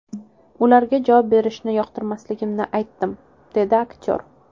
Ularga javob berishni yoqtirmasligimni aytdim”, dedi aktyor.